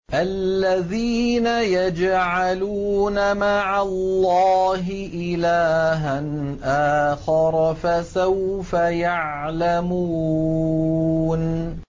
الَّذِينَ يَجْعَلُونَ مَعَ اللَّهِ إِلَٰهًا آخَرَ ۚ فَسَوْفَ يَعْلَمُونَ